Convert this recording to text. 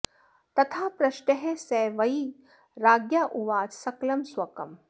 तथा पृष्टः स वै राज्ञा उवाच सकलं स्वकम्